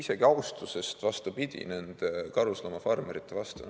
See on tegelikult austusest nende karusloomafarmerite vastu.